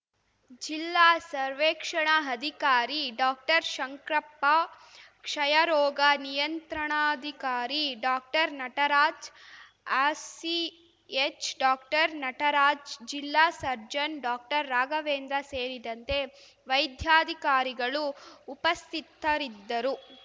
ಜಿಲ್ಲಾ ಸರ್ವೇಕ್ಷಣಾ ಅಧಿಕಾರಿ ಡಾಕ್ಟರ್ಶಂಕ್ರಪ್ಪ ಕ್ಷಯರೋಗ ನಿಯಂತ್ರಣಾಧಿಕಾರಿ ಡಾಕ್ಟರ್ನಟರಾಜ್‌ ಆರ್‌ಸಿಎಚ್‌ ಡಾಕ್ಟರ್ನಟರಾಜ್‌ ಜಿಲ್ಲಾ ಸರ್ಜನ್‌ ಡಾಕ್ಟರ್ರಾಘವೇಂದ್ರ ಸೇರಿದಂತೆ ವೈದ್ಯಾಧಿಕಾರಿಗಳು ಉಪಸ್ಥಿತರಿದ್ದರು